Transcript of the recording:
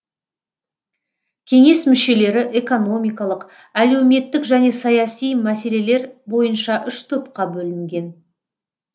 кеңес мүшелері экономикалық әлеуметтік және саяси мәселелер бойынша үш топқа бөлінген